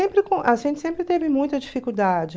Sempre com... a gente sempre teve muita dificuldade.